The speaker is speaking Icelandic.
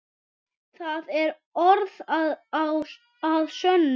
Það er orð að sönnu.